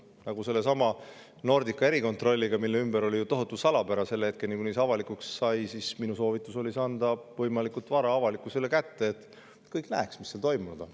Nagu sellesama Nordica erikontrolli puhul, mille ümber oli tohutu salapära selle hetkeni, kui see avalikuks sai, oli minu soovitus anda see võimalikult vara avalikkusele kätte, et kõik näeks, mis seal toimunud on.